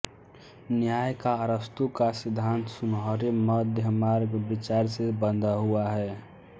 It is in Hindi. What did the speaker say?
न्याय का अरस्तू का सिद्धांत सुनहरे मध्यमार्ग विचार से बंधा हुआ है